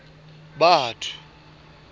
batho